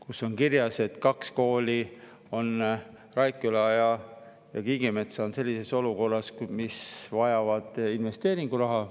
Seal on kirjas, et kaks kooli, Raikküla ja Kiigemetsa, on sellises olukorras, et vajavad investeeringuraha.